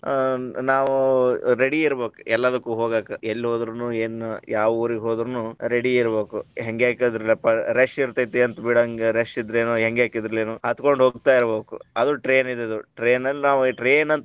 ಆ ನಾವ ready ಇರಬೇಕ ಎಲ್ಲಾದಕ್ಕು ಹೋಗಾಕ, ಎಲ್ಲಿ ಹೊದ್ರುನು ಏನು ಯಾವ ಊರಿಗ ಹೊದ್ರುನು ready ಇರಬೇಕು , ಹೆಂಗೆಂಗ್ rush ಇರತೈತಿ ಬಿಡ ಹಂಗಾರ ಇದ್ರುನು ಹತ್ತಕೊಂಡ ಹೋಗ್ತಾ ಇರಬೇಕು ಅದು train train ಅಂತಂದ್ರೆನೆ.